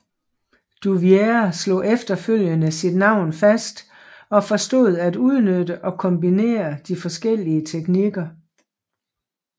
Duvier slog efterfølgende sit navn fast og forstod at udnytte og kombinere de forskellige teknikker